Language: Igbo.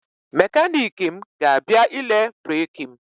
Mekaniki m ga-abịa ile breki m.